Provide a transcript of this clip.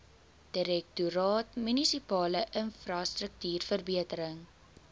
direktoraat munisipale infrastruktuurverbetering